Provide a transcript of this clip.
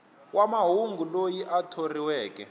wa mahungu loyi a thoriweke